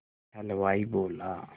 हलवाई बोला